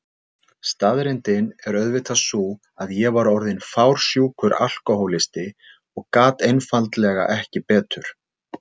Staðreyndin er auðvitað sú að ég var orðin fársjúkur alkohólisti og gat einfaldlega ekki betur.